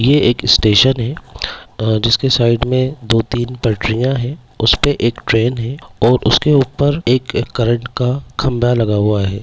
ये एक स्टेशन है जिसके साइड मे दो तीन पटरिया है उस पे एक ट्रेन है और उसके ऊपर एक करंट का खम्बा लगा हुआ है